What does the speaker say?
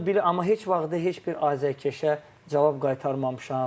Mən bunu bilirdim, amma heç vaxt heç bir azərkeşə cavab qaytarmamışam.